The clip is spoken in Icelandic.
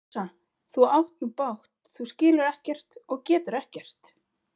Rósa, þú átt nú bágt, þú skilur ekkert og getur ekkert.